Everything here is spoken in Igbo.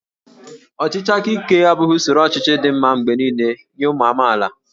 Ọchịchị aka ike abụghị usoro ọchịchị dị mma mgbe niile nye ụmụ amaala